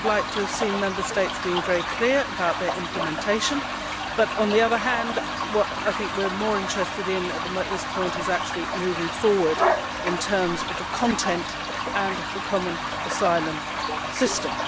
We would have liked to see Member States being very clear about their implementation but, on the other hand, what I think we are more interested at this point is actually moving forward in terms of the content and the common asylum system.